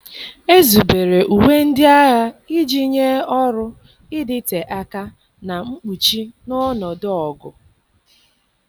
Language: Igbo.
Ezubere uwe ndị agha iji nye ọrụ, ịdịte aka, na mkpuchi n'ọnọdụ ọgụ